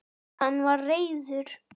Hann var reiður.